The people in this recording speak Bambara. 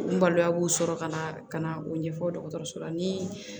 N balima b'u sɔrɔ ka na ka na o ɲɛfɔ dɔgɔtɔrɔso la ni